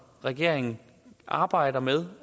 regeringen arbejder med